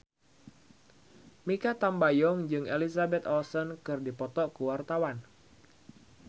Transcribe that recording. Mikha Tambayong jeung Elizabeth Olsen keur dipoto ku wartawan